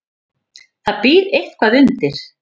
Það býr eitthvað undir.